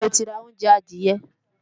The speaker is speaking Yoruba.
Níbo lo ti ra oúnjẹ adìẹ?